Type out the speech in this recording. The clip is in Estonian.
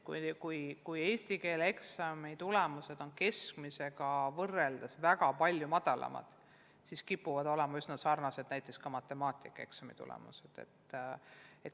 Kui eesti keele eksami tulemused on keskmisega võrreldes väga palju madalamad, siis kipuvad olema üsna sarnased ka näiteks matemaatikaeksami tulemused.